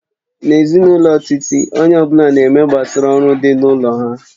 N'ezinụlọ Titi, onye ọ bụla na-eme gbasara oru dị n'ụlọ na nha